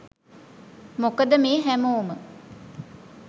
මොකද මේ හැමෝම